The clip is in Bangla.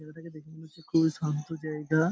জায়গাটাকে দেখে মনে হচ্ছে খুবই শান্ত জায়গা ।